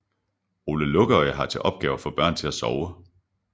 Ole Lukøje har til opgave at få børn til at sove